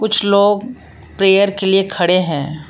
लोग प्रेयर के लिए खड़े है।